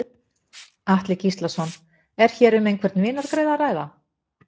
Atli Gíslason: Er hér um einhvern vinargreiða að ræða?